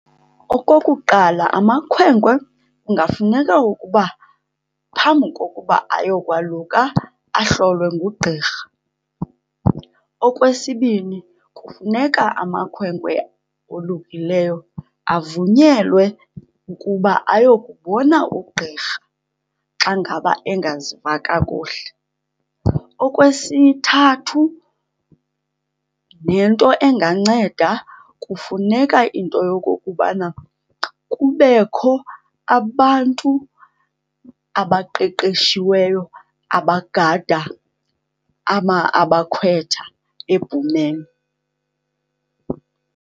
Okokuqala, amakhwenkwe kungafuneka ukuba phambi kokuba ayokwaluka ahlolwe ngugqirha. Okwesibini, kufuneka amakhwenkwe olukileyo avunyelwe ukuba ayokubona ugqirha xa ngaba engaziva kakuhle. Okwesithathu nento enganceda, kufuneka into yokokubana kubekho abantu abaqeqeshiweyo abagada abakhwetha ebhumeni.